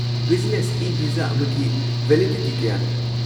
Business e-visa ꯑꯃꯒꯤ validity ꯀꯌꯥꯅꯣ?